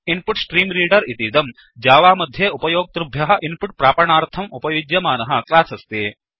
input stream reader इतीदं Java मध्ये उपयोक्तृभ्यः इन्पुट् प्रापणार्थम् उपयुज्यमानः क्लास् अस्ति